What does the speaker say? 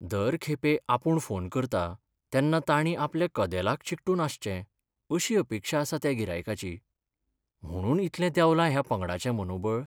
दर खेपे आपूण फोन करतां तेन्ना ताणीं आपल्या कदेलाक चिकटून आसचें अशी अपेक्षा आसा त्या गिरायकाची. म्हुणून इतलें देवलां ह्या पंगडाचें मनोबळ.